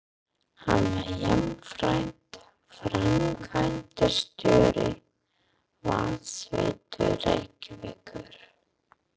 Hann var jafnframt framkvæmdastjóri Vatnsveitu Reykjavíkur.